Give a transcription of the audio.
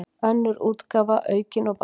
Önnur útgáfa, aukin og bætt.